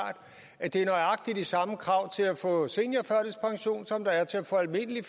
at der er nøjagtig de samme krav til at få seniorførtidspension som der er til at få almindelig